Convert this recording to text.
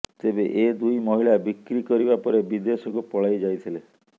ତେବେ ଏ ଦୁଇ ମହିଳା ବିକ୍ରି କରିବା ପରେ ବିଦେଶକୁ ପଳାଇଯାଇଥିଲେ